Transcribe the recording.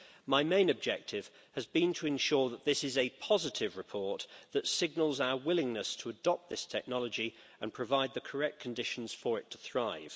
My main objective has been to ensure that this is a positive report that signals our willingness to adopt this technology and provide the correct conditions for it to thrive.